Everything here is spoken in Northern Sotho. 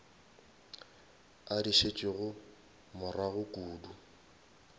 a di šetšego morago kudu